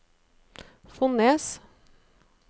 Fonnes